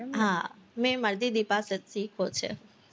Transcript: હા મેય મારી દીદી પાસેથી શીખો છે,